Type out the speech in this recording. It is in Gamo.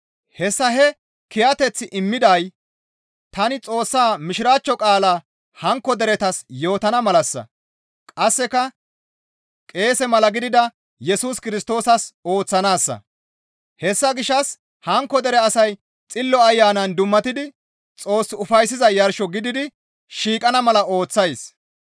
Hessa he kiyateththi imettiday tani Xoossa Mishiraachcho qaalaa hankko deretas yootana malassa; qasseka qeese mala gidida Yesus Kirstoosas ooththanaassa; hessa gishshas hankko dere asay Xillo Ayanan dummatidi Xoos ufayssiza yarsho gididi shiiqana mala ooththays.